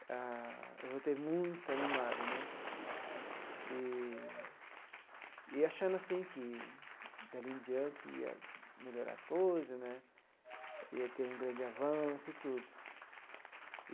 Ah eu voltei muito animado né eee e achando assim que, dali em diante, ia melhorar as coisas né, ia ter um grande avanço e tudo.